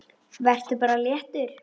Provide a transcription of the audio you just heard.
Vertu bara léttur!